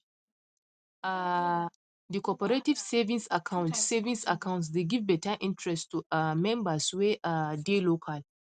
um the cooperative savings account savings account dey give better interest to um members wey um dey local